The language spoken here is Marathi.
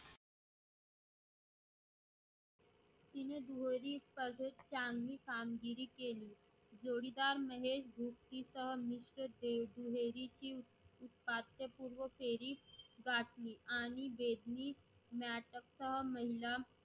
तिने दुहेरी स्पर्धेत चांगली कमगिरी केली. जोडीदार महेश भूपतीचा मिश्रकेही दुहेरीची उपात्यपूर्व फेरी गाठली आणि बेडली म्याटक्का महिला